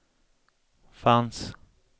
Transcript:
fanns